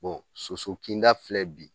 soso kinda filɛ bi